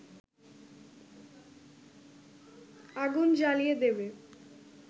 আগুন জ্বালিয়ে দেবে